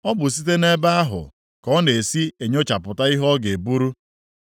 O bụ site nʼebe ahụ ka ọ na-esi enyochapụta ihe ọ ga-eburu.